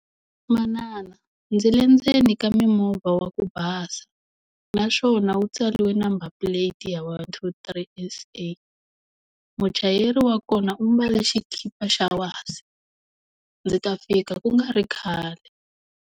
Manana, ndzi le ndzeni ka mimovha wa ku basa naswona wu tsariwe number plate ya one two three S_A muchayeri wa kona u mbale xikipa xa wasi ndzi ta fika ku nga ri khale.